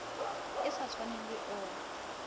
e sa tshwaneng le o